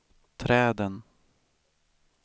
träden